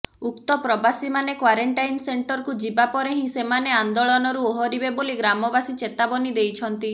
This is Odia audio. ଉକ୍ତ ପ୍ରବାସୀମାନେ କ୍ୱାରେଣ୍ଟାଇନ୍ ସେଣ୍ଟରକୁ ଯିବା ପରେ ହିଁ ସେମାନେ ଆନ୍ଦୋଳନରୁ ଓହରିବେ ବୋଲି ଗ୍ରାମବାସୀ ଚେତାବନୀ ଦେଇଛନ୍ତି